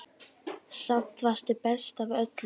Samt varstu best af öllum.